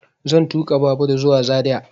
Zan tuƙa babur zuwa zaria